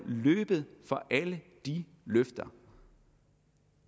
løbet fra alle de løfter